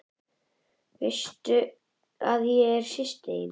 Veistu að ég er systir þín.